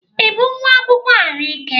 Ị bụ nwa akwụkwọ ahụike?